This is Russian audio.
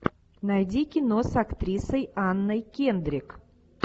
найди кино с актрисой анной кендрик